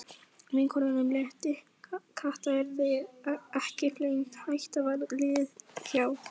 Vinkonunum létti, Kata yrði ekki flengd, hættan var liðin hjá.